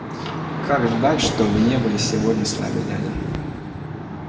как жаль что вы не были сегодня с нами дядя